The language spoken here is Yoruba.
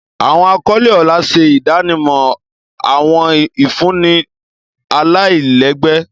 Awọn akọle ọlá ṣe idanimọ awọn ifunni alailẹgbẹ.